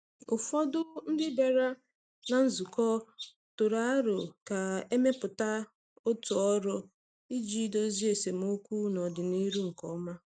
Ụfọdụ ndị bịara na nzukọ tụrụ aro ka e mepụta otu ọrụ iji dozie esemokwu n’ọdịnihu nke ọma.